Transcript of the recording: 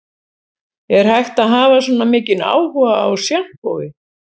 Er hægt að hafa svona mikinn áhuga á sjampói